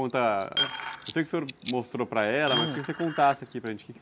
Eu sei que o senhor mostrou para ela, mas queria que você contasse aqui para gente